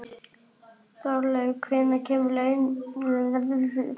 Þorlaug, hvenær kemur leið númer þrjátíu og átta?